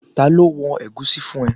Ta ló wọn ẹ̀gúsí fún ẹ?